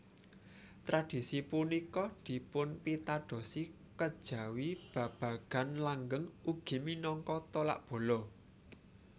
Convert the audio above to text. Tradisi punika dipunpitadosi kejawi babagan langgeng ugi minangka tolak bala